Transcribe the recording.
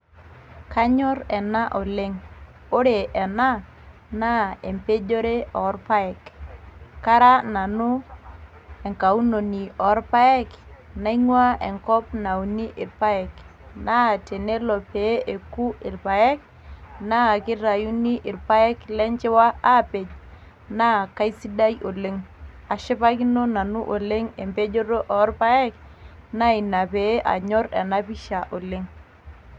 kanyorr ena oleng, ore ena naa empejore oorpayek kara nanu enkaunoni orpayek naingua enkop nauni irpaek naa tenelo pee eku irpaek naa kitayuni irpaek lenchiwia aapej naa kaisidai oleng ashipakino nanu oleng empejoto orpayek naa ina pee anyorr ena pisha oleng.